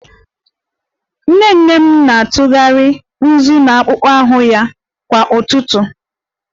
Nnene m na-atụgharị nzu na akpụkpọ ahụ ya kwa ụtụtụ